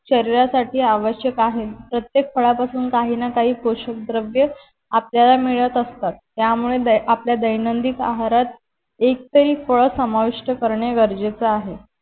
शरीरसाथी आवश्यक आहे प्रत्येक फळांपासून काही ना काही पोशकद्रव्ये आपल्याला मिळत असतात त्यामुळे आपल्या दैनदिन आहारात एक तरी फळ समाविष्ट करणे गरजेचे आहे.